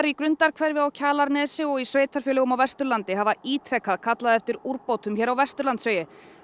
í Grundarhverfi á Kjalarnesi og sveitarfélögum á Vesturlandi hafa ítrekað kallað eftir úrbótum hér á Vesturlandsvegi